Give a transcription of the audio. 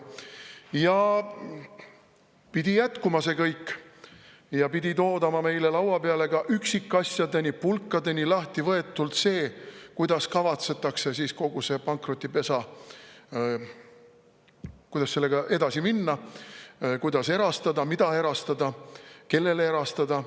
See kõik pidi jätkuma ja pidi toodama meile laua peale ka üksikasjadeni, pulkadeks lahtivõetult see, kuidas kavatsetakse edasi minna kogu selle pankrotipesaga, kuidas erastada, mida erastada, kellele erastada.